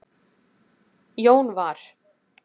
Jón var